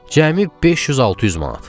Cəmi 500-600 manat.